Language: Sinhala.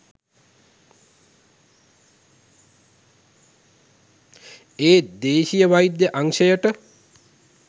ඒත් දේශීය වෛද්‍ය අංශයට